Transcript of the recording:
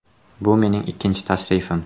Bu mening ikkinchi tashrifim.